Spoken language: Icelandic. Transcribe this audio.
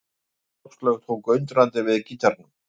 Áslaug tók undrandi við gítarnum.